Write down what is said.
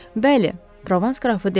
Bəli, Provans qrafı dedi.